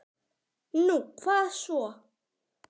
Nú, hvað svo?